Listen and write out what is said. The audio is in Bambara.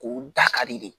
K'o da ka di de